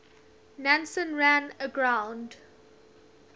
nansen ran aground